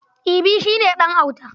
Ibi shi ne ɗan auta.